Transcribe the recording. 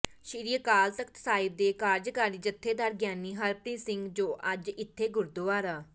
ਸ੍ਰੀ ਅਕਾਲ ਤਖ਼ਤ ਸਾਹਿਬ ਦੇ ਕਾਰਜਕਾਰੀ ਜਥੇਦਾਰ ਗਿਆਨੀ ਹਰਪ੍ਰੀਤ ਸਿੰਘ ਜੋ ਅੱਜ ਇਥੇ ਗੁਰਦੁਆਰਾ